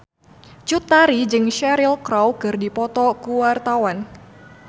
Cut Tari jeung Cheryl Crow keur dipoto ku wartawan